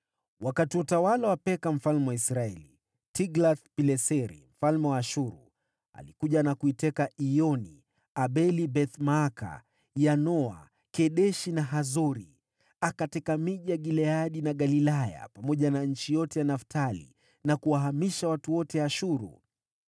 Wakati wa utawala wa Peka mfalme wa Israeli, Tiglath-Pileseri mfalme wa Ashuru alikuja na kuteka Iyoni, Abel-Beth-Maaka, Yanoa, Kedeshi na Hazori. Akateka miji ya Gileadi na Galilaya, pamoja na nchi yote ya Naftali, na kuwahamishia watu wote Ashuru.